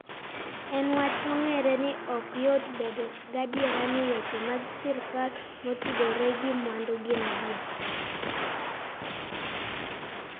En wach mong'ere ni ok yot bedo gadier ni weche mag sirkal motudore gi mwandu gin adier.